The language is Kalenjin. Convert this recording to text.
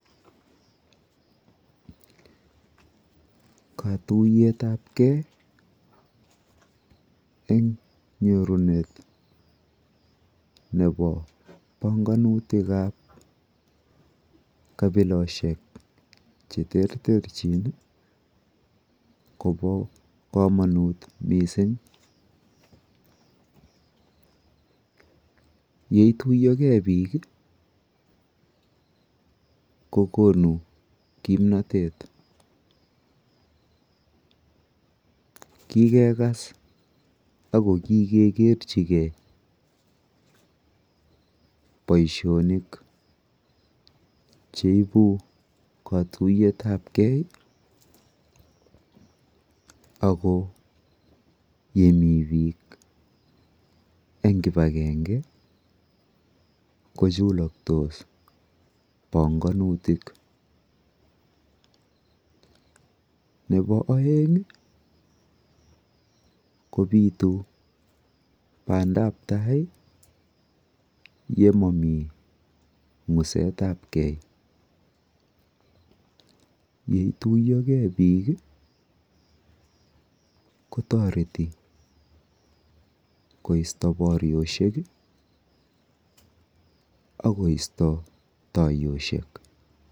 Katuiyetapkei eng nyorunet nepo panganutikap kapiloshek cheterterchin kopo komonut mising. Yeituiyogei biik kokonu kimnotet. Kikekas ak kikekerchigei boishonik cheibu katuiyetapkei ako yemi biik eng kipakenge kochuloktos panganutik. Nepo oeng kopitu bandap tai yemomi ng'usetapkei. Yeituiyogei biik, kotoreti koisto boryoshek akoisto taiyoshek.